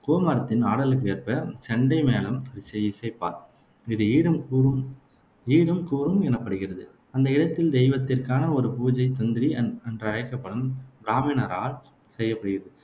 கொமாரத்தின் ஆடலுக்கேற்ப செண்டை மேளம் ச இசைப்பர். இது ஈடும் கூரும் ஈடும் கூரும் எனப்படுகிறது அந்த இடத்தில் தெய்வத்திற்கான ஒரு பூஜை தந்திரி என்றழைக்கப்படும் பிராமிணரால் செய்யப்படுகிறது